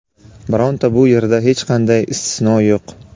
Bironta bu yerda hech qanday istisno yo‘q.